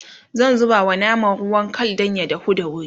zan zubawa naman ruwan Kal Dan ya dahu da wuri